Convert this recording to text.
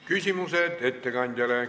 Küsimused ettekandjale.